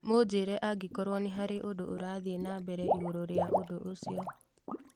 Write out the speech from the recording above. mũnjĩre angĩkorwo nĩ harĩ ũndũ ũrathiĩ na mbere igũrũ rĩa ũndũ ũcio